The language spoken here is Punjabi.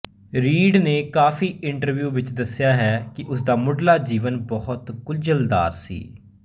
ਰੀਡ ਨੇ ਕਾਫੀ ਇੰਟਰਵਿਊ ਵਿੱਚ ਦੱਸਿਆ ਹੈ ਕਿ ਉਸਦਾ ਮੁੱਢਲਾ ਜੀਵਨ ਬਹੁਤ ਗੁੰਝਲਦਾਰ ਸੀ